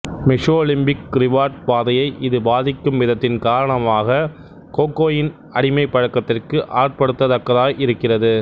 mesolimbic reward பாதையை இது பாதிக்கும் விதத்தின் காரணமாக கோகோயின் அடிமைப்பழக்கத்திற்கு ஆட்படுத்தத் தக்கதாய் இருக்கிறது